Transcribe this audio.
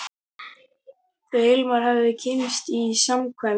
Þau Hilmar höfðu kynnst í samkvæmi.